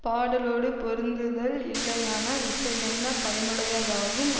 பாடலோடு பொருந்துதல் இல்லையானால் இசை என்ன பயனுடையதாகும்